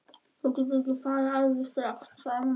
Þú getur ekki farið út alveg strax, sagði mamma.